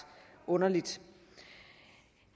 underligt